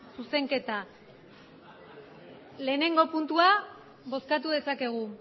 zuzenketa lehenengo puntua bozkatu dezakegu